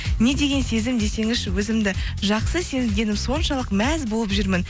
не деген сезім десеңізші өзімді жақсы сезгенім соншалық мәз болып жүрмін